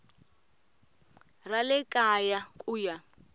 ra le kaya ku ya